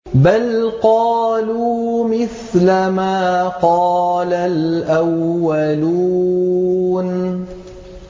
بَلْ قَالُوا مِثْلَ مَا قَالَ الْأَوَّلُونَ